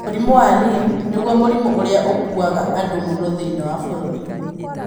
Mũrimũ wa Lyme nĩguo mũrimũ ũrĩa ũkuaga andũ mũno thĩinĩ wa bũrũri.